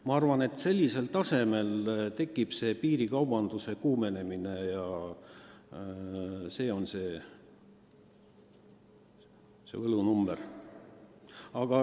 Minu arvates just sellise vahe korral tekib piirikaubanduse kuumenemine – see on see võlunumber.